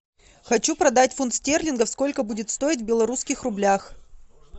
хочу продать фунт стерлингов сколько будет стоить в белорусских рублях